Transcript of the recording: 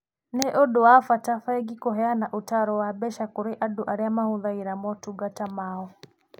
Nĩ ũndũ wa bata bengi kũheana ũtaaro wa mbeca kũrĩ andũ arĩa mahũthagĩra motungata mao.